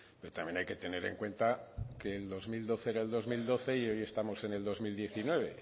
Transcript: pero también hay que tener en cuenta que el dos mil doce era el dos mil doce y hoy estamos en el dos mil diecinueve